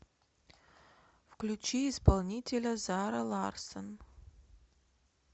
включи исполнителя зара ларссон